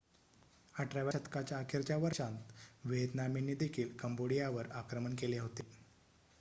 18 व्या शतकाच्या अखेरच्या वर्षांत व्हिएतनामींनी देखील कंबोडियावर आक्रमण केले होते